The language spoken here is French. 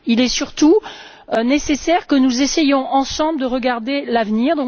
Il est surtout nécessaire que nous essayons, ensemble, de regarder l'avenir.